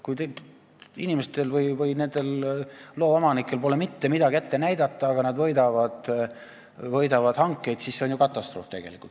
Kui inimestel, nendel loaomanikel pole mitte midagi ette näidata, aga nad võidavad hankeid, siis see on ju katastroof.